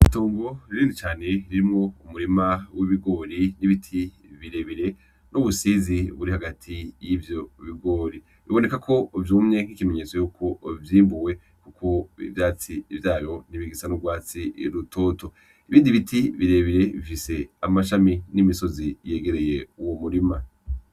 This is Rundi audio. Itongo rinini cane ririmwo umurima w'ibigori n'ibiti bire bire n'ubusizi buri hagati y'ivyo bigori, biboneka ko vyumye nk'ikimenyetso yuko vyimbuwe kuko ivyatsi vyavyo ntibigisa n'urwatsi rutoto, ibindi biti birebire bifise amashami n'imisozi yegereye uwo murima.